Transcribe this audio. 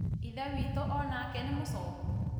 ithe witũ ona ke nĩ mũcoku?